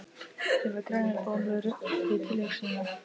Ég fæ grænar bólur við tilhugsunina!